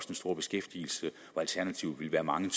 den store beskæftigelse hvor alternativet ville være mange